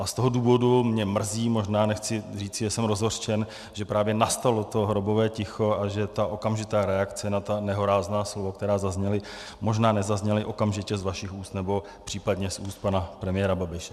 A z toho důvodu mě mrzí, možná nechci říct, že jsem rozhořčen, že právě nastalo to hrobové ticho a že ta okamžitá reakce na ta nehorázná slova, která zazněla, možná nezazněla okamžitě z vašich úst nebo případně z úst pana premiéra Babiše.